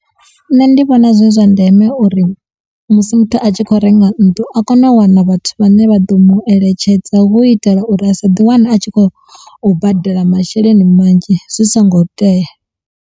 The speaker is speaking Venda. Nṋe ndi vhona zwi zwa ndeme uri musi muthu a tshi khou renga nnḓu a kone u wana vhathu vhane vha ḓo mu eletshedza hu u itela uri a sa ḓi wane a tshi khou badela masheleni manzhi zwi songo tea.